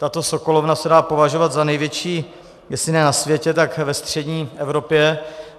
Tato sokolovna se dá považovat za největší jestli ne na světě, tak ve střední Evropě.